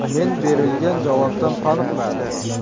Men berilgan javobdan qoniqmadim.